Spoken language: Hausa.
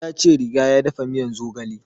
Ya ce riga ya dafa miyan zogale